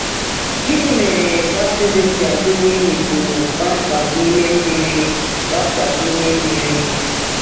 Gịnị mere baptizim ji agụnye imikpu kpamkpam n’ime mmiri? kpamkpam n’ime mmiri?